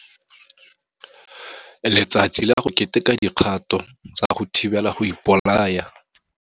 Letsatsi la go Keteka Dikgato tsa go Thibela go Ipolaya.